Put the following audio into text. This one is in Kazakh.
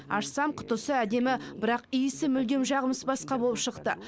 ашсам құтысы әдемі бірақ иісі мүлдем жағымсыз басқа болып шықты